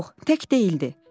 Yox, tək deyildi.